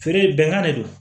Feere bɛnkan de do